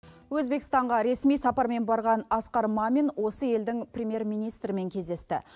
өзбекстанға ресми сапармен барған асқар мамин осы елдің премьер министрімен кездесті